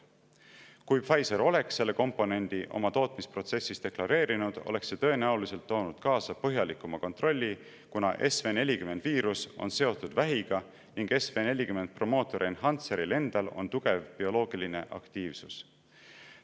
Kui Pfizer oleks selle komponendi oma tootmisprotsessis deklareerinud, oleks see tõenäoliselt toonud kaasa põhjalikuma kontrolli, kuna SV40 on seotud vähiga ning SV40 promoter-enhancer'il endal on tugev bioloogiline aktiivsus.